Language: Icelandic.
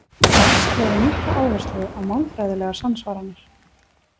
Rask lagði mikla áherslu á málfræðilegar samsvaranir.